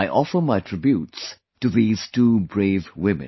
I offer my tributes to these two brave women